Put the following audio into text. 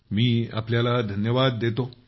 मी आपल्याला धन्यवाद देतो